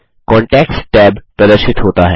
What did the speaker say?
contacts tab प्रदर्शित होता है